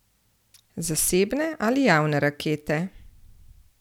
Zasebne ali javne rakete?